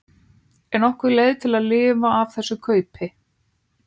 Er nokkur leið að lifa af þess kaupi